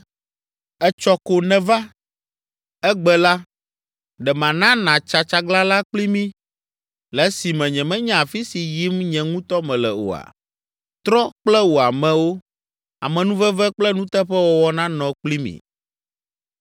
Etsɔ ko nèva! Egbe la, ɖe mana nàtsa tsaglalã kpli mí, le esime nyemenya afi si yim nye ŋutɔ mele oa? Trɔ kple wò amewo. Amenuveve kple nuteƒewɔwɔ nanɔ kpli mi.”